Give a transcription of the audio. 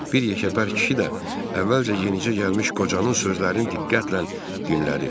Bir yekəpər kişi də əvvəlcə yenicə gəlmiş qocanın sözlərini diqqətlə dinlədi.